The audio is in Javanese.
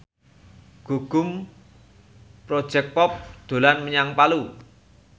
Gugum Project Pop dolan menyang Palu